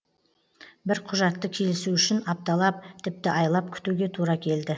бір құжатты келісу үшін апталап тіпті айлап күтуге тура келді